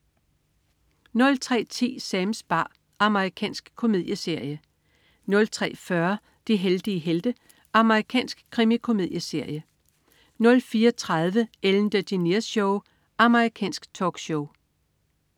03.10 Sams bar. Amerikansk komedieserie 03.40 De heldige helte. Amerikansk krimikomedieserie 04.30 Ellen DeGeneres Show. Amerikansk talkshow